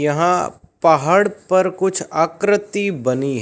यहां पहाड़ पर कुछ आकृति बनी--